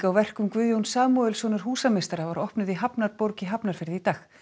verkum Guðjóns Samúelssonar húsameistara var opnuð í hafnarborg í Hafnarfirði í dag